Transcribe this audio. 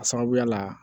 A sababuya la